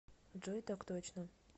джой так точно